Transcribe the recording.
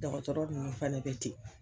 Dɔgɔtɔrɔ ninnu fana bɛ ten.